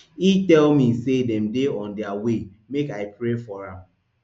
e tell me say dem dey on dia way make i pray for am